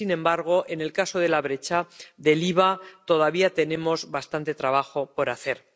sin embargo, en el caso de la brecha del IVA todavía tenemos bastante trabajo por hacer.